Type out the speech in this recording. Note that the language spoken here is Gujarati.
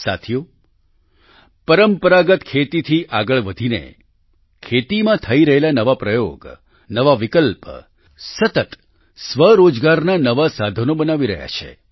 સાથીઓ પરંપરાગત ખેતીથી આગળ વધીને ખેતીમાં થઈ રહેલા નવા પ્રયોગ નવા વિકલ્પ સતત સ્વરોજગારના નવા સાધનો બનાવી રહ્યા છે